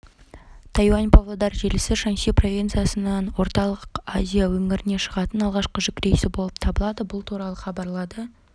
тайюань-павлодар желісі шаньси провинциясынан орталық азия өңіріне шығатын алғашқы жүк рейсі болып табылады бұл туралы хабарлады